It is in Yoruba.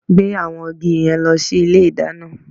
Gbé àwọn igi yẹn lọ sí ilé ìdáná!